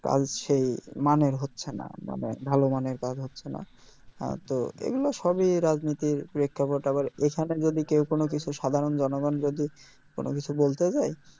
কাজ সেই ভালো মানের হচ্ছে না মানে ভালো মানের কাজ হচ্ছে না হ্যাঁ তো এগুলো সব ই রাজনীতির প্রেক্ষাপটে আবার এখানে যদি কেউ কোনও কিছু সাধারন জনগন যদি কোনও কিছু বলতে যাই